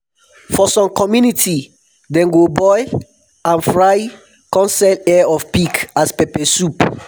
for some community dem go boil and fry come sell ear of pig as pepper soup